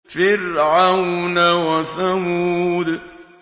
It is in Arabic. فِرْعَوْنَ وَثَمُودَ